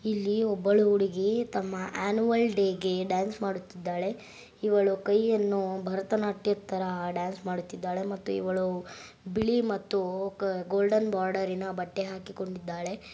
ಇಲ್ಲಿ ಒಬ್ಬಳು ಹುಡುಗಿ ತಮ್ಮ ಆನ್ಯುವಲ್ ಡೇಗೆ ಡಾನ್ಸ್ ಮಾಡುತಿದ್ದಾಳೆ ಇವಳು ಕೈಯನ್ನು ಭಾರತನಾಟ್ಯದ ತರ ಡಾನ್ಸ್ ಮಾಡುತಿದ್ದಾಳೆ ಮತ್ತು ಇವಳು ಬಿಳಿ ಮತ್ತು ಗೋಲ್ಡನ್ ಬಾರ್ಡರಿನ ಬಟ್ಟೆ ಹಾಕಿಕೊಂಡಿದ್ದಾಳೆ.